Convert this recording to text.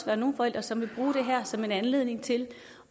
være nogle forældre som vil bruge det her som en anledning til